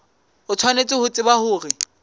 o tshwanetse ho tseba hore